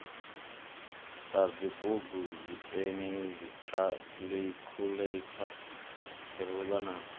sadzibugu dzipeni dzikhaḽikhuḽeitha dziruḽa na